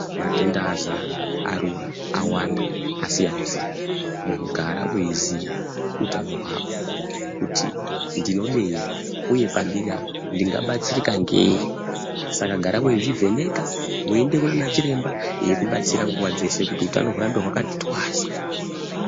Matenda azara arura awanda akasiyana siyana munhu gara weiziya hutano hwako kuti ndinodei uye pandiri apa ndingabatsirika ngei saka gara weizvivheneka weienda kunana chiremba eikubatsira nguva dzeshe kuti hutano hurambe hwakati twasa.